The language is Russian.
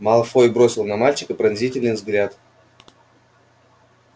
малфой бросил на мальчика быстрый пронзительный взгляд